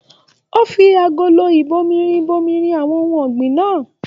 O fí agolo ibòmírin bomirin àwọn ohùn ọ̀gbìn náà.